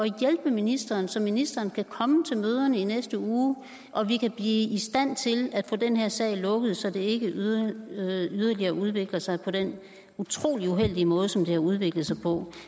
hjælpe ministeren så ministeren kan komme til møderne i næste uge og vi kan blive i stand til at få den her sag lukket så den ikke yderligere yderligere udvikler sig på den utrolig uheldige måde som den har udviklet sig på